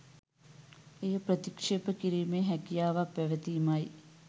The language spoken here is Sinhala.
එය ප්‍රතික්ෂේප කිරීමේ හැකියාවක් පැවතීම යි.